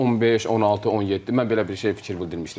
Bu 15, 16, 17 mən belə bir şey fikir bildirmişdim də.